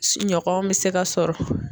Ɲɔgɔn bɛ se ka sɔrɔ.